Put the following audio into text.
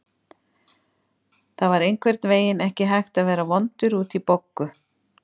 Það var einhvern veginn ekki hægt að vera vondur út í Boggu.